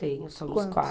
Tenho, somos quatro.